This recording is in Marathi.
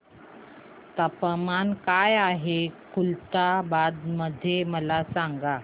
तापमान काय आहे खुलताबाद मध्ये मला सांगा